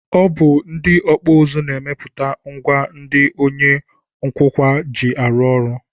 Ọ bụ ndị ọkpụụzụ na-akpụpụta ngwa ndị onye nkụkwa ji arụ ọrụ